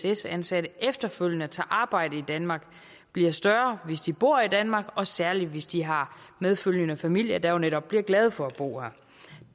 ess ansatte efterfølgende tager arbejde i danmark bliver større hvis de bor i danmark og særlig hvis de har medfølgende familier der netop bliver glade for at bo her